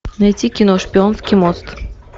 найти кино шпионский мост